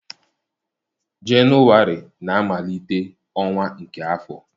Jenụwarị na-amalite ọnwa nke afọ.